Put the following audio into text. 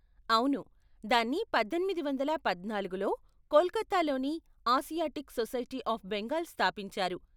అవును, దాన్ని పద్దెనిమిది వందల పద్నాలుగులో కోల్కతాలోని ఆసియాటిక్ సొసైటీ అఫ్ బెంగాల్ స్థాపించారు.